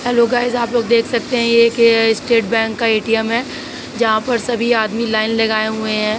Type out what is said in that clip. Hello guys आप लोग सब देख सकते हैं कि एक यह एक स्टेट बैंक का ए.टी.एम. है जहां पर सभी आदमी लाइन लगाए हुए है।